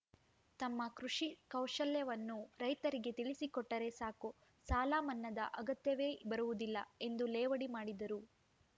ತಮ್ಮ ಕೃಷಿ ಕೌಶಲ್ಯವನ್ನು ರೈತರಿಗೆ ತಿಳಿಸಿಕೊಟ್ಟರೆ ಸಾಕು ಸಾಲಮನ್ನಾದ ಅಗತ್ಯವೇ ಬರುವುದಿಲ್ಲ ಎಂದು ಲೇವಡಿ ಮಾಡಿದರು